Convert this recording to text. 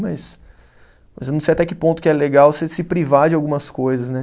Mas, mas eu não sei até que ponto que é legal você se privar de algumas coisas, né?